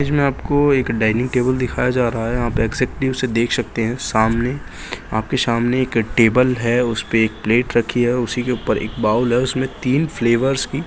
इसमें आपको एक डाइनिंग टेबल दिखाया जा रहा है यहाँ पे एक्सैक्ट्ली उसे देख सकते हैं सामने आपके सामने एक टेबल है उसपे एक प्लेट रखी है उसी के ऊपर एक बाउल है उसमें तीन फ्लेवर्स की --